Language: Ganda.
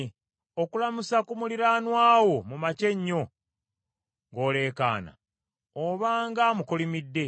Okulamusa ku muliraanwa wo mu makya ennyo, ng’oleekaana, obanga amukolimidde.